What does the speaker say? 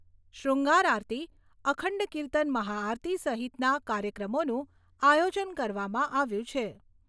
શ્રૃંગાર આરતી, અખંડ કિર્તન મહાઆરતી સહિતના કાર્યક્રમોનું આયોજન કરવામાં આવ્યું છે.